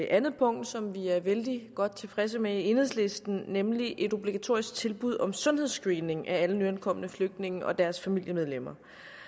andet punkt som vi er vældig godt tilfredse med i enhedslisten nemlig et obligatorisk tilbud om sundhedsscreening af alle nyankomne flygtninge og deres familiemedlemmer